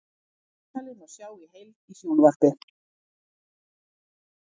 Viðtalið má sjá í heild í sjónvarp